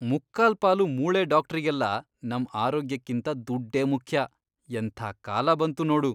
ಮುಕ್ಕಾಲ್ಪಾಲು ಮೂಳೆ ಡಾಕ್ಟ್ರಿಗೆಲ್ಲ ನಮ್ ಆರೋಗ್ಯಕ್ಕಿಂತ ದುಡ್ಡೇ ಮುಖ್ಯ, ಎಂಥ ಕಾಲ ಬಂತು ನೋಡು.